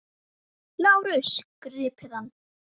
LÁRUS: Grípið hann!